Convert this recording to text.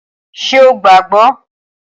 Ṣé o gbàá gbọ́?